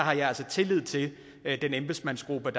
er at jeg har tillid til at embedsmandsgruppen